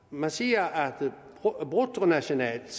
man siger at bruttonationalt